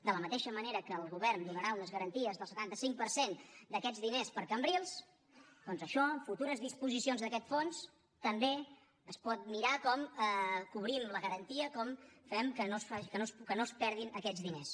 de la mateixa manera que el govern donarà unes garanties del setanta cinc per cent d’aquests diners per a cambrils doncs això futures disposicions d’aquest fons també es pot mirar com cobrim la garantia com fem que no es perdin aquests diners